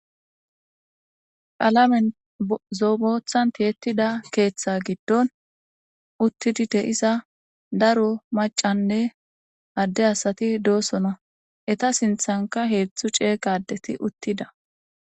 palamen zoobothantiyettida keeththe giddon uttidi de isa daro macanne adde asati doosona eta sinthanka heetzthu cee qadeti uttida